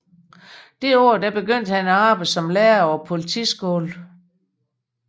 Det år begyndte han at arbejde som lærer på politiskolen